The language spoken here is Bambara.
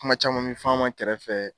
Kuma caman min fɔ an ma kɛrɛfɛ.